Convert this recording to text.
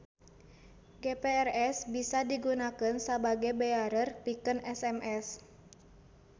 GPRS bisa digunakeun sabage bearer pikeun SMS.